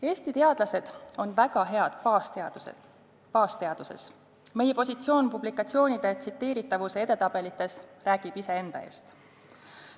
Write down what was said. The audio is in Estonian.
Eesti teadlased on väga head baasteadustes, meie positsioon publikatsioonide tsiteeritavuse edetabelites räägib iseenda eest.